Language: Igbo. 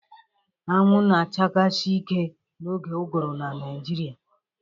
Anwụ na-achasi ike n'oge ụgụrụ na Naịjirịa